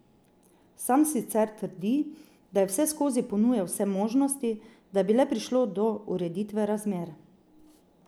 Sam sicer trdi, da je vseskozi ponujal vse možnosti, da bi le prišlo do ureditve razmer.